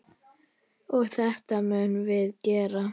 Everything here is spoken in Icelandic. Og þetta munum við gera.